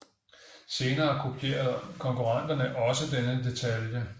Senere kopierede konkurrenterne også denne detalje